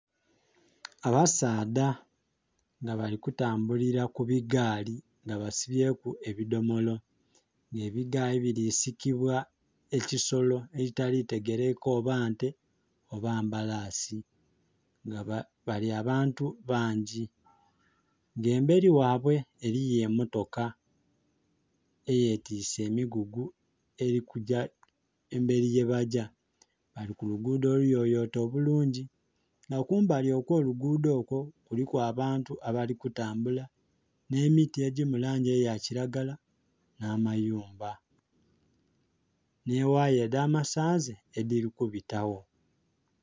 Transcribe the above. Abasaadha nga bali kutambulila ku bigaali nga basibyeku ebidhomolo nga ebigaali bili sikibwa ebisolo ebitali kutegelekeka oba nte oba mbalasi nga bali abantu bangi nga emberi ghaibwe eriyo emotoka eye twise emigugu eli kugya emberi yebagya. Bali kuluguudho oluyoyote obulungi nga kumbali okwo lugudho okwo kuliku abantu abali kutambula nhe miti edhili mu langi eya kilagala nha mayumba nhi ghaya edha masanhalaze edhili kubitagho.